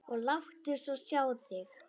Og láttu svo sjá þig.